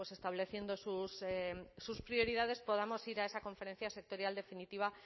estableciendo sus prioridades podamos ir a esa conferencia sectorial definitiva